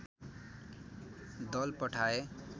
दल पठाए